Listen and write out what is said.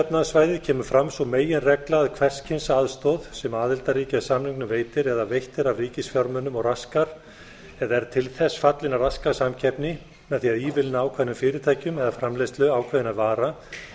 efnahagssvæðið kemur fram sú meginregla að hvers kyns aðstoð sem aðildarríki að samningnum veitir eða veitt er af ríkisfjármunum og raskar eða er til þess fallin að raska samkeppni með því að ívilna ákveðnum fyrirtækjum eða framleiðslu ákveðinna vara